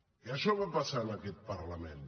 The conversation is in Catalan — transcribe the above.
i això va passar en aquest parlament